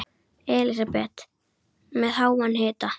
Elísabet: Með háan hita?